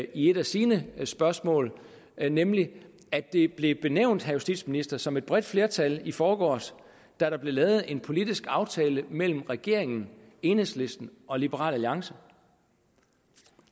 i et af sine spørgsmål nemlig at det blev benævnt til justitsministeren som et bredt flertal i forgårs da der blev lavet en politisk aftale mellem regeringen enhedslisten og liberal alliance